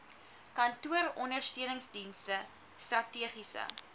kantooronder steuningsdienste strategiese